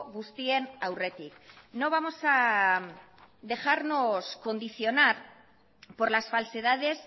guztien aurretik no vamos a dejarnos condicionar por las falsedades